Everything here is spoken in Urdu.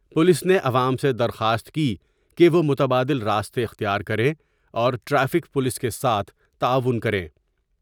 پولیس نے عوام سے درخواست کی کہ وہ متبادل راستے اختیار کریں اور ٹریفک پولیس کے ساتھ تعاون کرے ۔